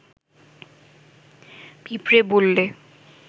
পিঁপড়ে বললে